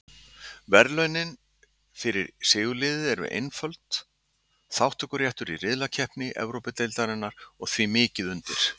Verðlaunin fyrir sigurliðið eru einföld, þátttökuréttur í riðlakeppni Evrópudeildarinnar og því mikið undir.